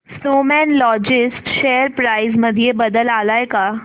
Snowman Logistics share price मध्ये बदल आलाय का